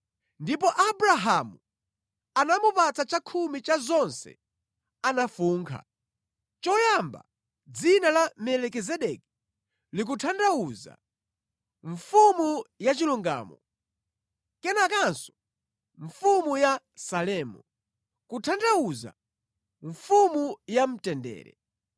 Ndipo Abrahamu anamupatsa chakhumi cha zonse anafunkha. Choyamba dzina la Melikizedeki likutanthauza, “Mfumu ya chilungamo,” kenakanso, “Mfumu ya Salemu,” kutanthauza, “Mfumu ya mtendere.”